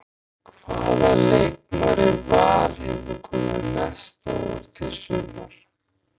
Hvaða leikmaður í Val hefur komið þér mest á óvart í sumar?